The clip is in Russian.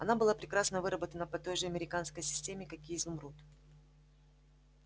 она была прекрасно выработана по той же американской системе как и изумруд